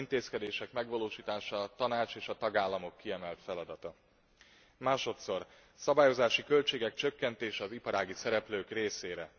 Ezen intézkedések megvalósítása a Tanács és a tagállamok kiemelt feladata. Másodszor, a szabályozási költségek csökkentése az iparági szereplők részére.